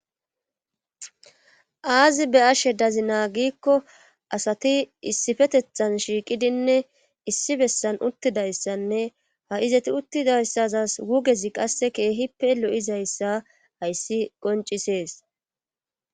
Aazi be ashe dazi naagikko asati issifetethan shiiqidinne issi bessan uttidayssanne ha izati uttidayssazas wugezi qasse keehippe lo'izayssa hayssi qoncisees.